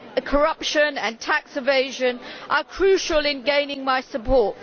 corruption and tax evasion are crucial in gaining my support.